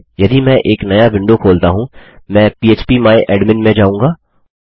यदि मैं एक नया विंडो खोलता हूँ मैं पह्प माय एडमिन में जाऊँगा